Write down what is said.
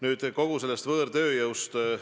Nüüd võõrtööjõust.